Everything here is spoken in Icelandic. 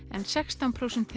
en sextán prósent